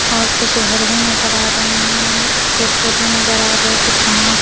और कुछ घर में नज़र आ रहे हैं पेड़-पौधे नज़र आ रहे हैं कुछ घास--